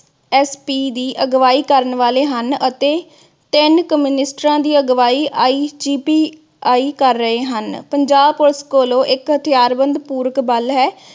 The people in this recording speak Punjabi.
SP ਦੀ ਅਗਵਾਈ ਕਰਨ ਵਾਲੇ ਹਨ ਅਤੇ ਤਿੰਨ ਕਮ੍ਯੁਨਿਸ੍ਤਾ ਦੀ ਅਗਵਾਈ IGPI ਕਰ ਰਹੇ ਹਨ। ਪੰਜਾਬ ਕੋਲੋ ਇਕ ਹਥਿਆਰਬੰਦ ਪੂਰਕ ਬਲ ਹੈ